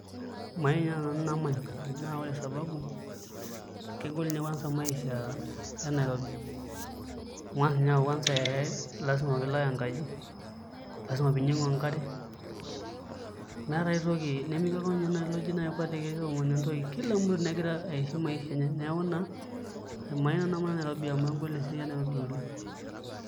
Mayieu inye nanu namany naa ore sababu kegol ninye kwanza maisha e Nairobi amu eng'as inye aaku kwanza ee lasima pee ilak enkaji, lasima piinyiang'u enkare meetaa ai toki nemekeji etii inye oltungani oji kwatiki toomonu entoki, kila mtu negira aishi maisha enye neeku naa mayieu nanu namany Nairobi amu egol esiai e Nairobi oleng'.